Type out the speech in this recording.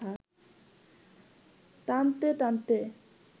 টানতে টানতে